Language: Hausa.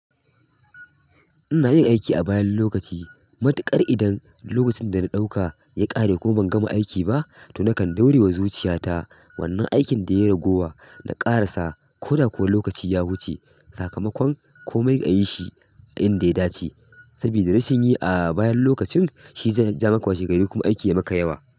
Ina iya aiki a bayan lokaci. Matuƙar idan lokacin da na ɗauka ya ƙare ko ban gama aiki ba to nakan ɗaurewa zuciyata. Wannan aikin da ya ragowa na ƙarasa ko da kuwa lokaci ya wuce sakamakon komai ayi shi a inda ya dace. Sabida rashin yi a bayan lokacin shi zai jawo maka washe gari kuma aiki ya maka yawa.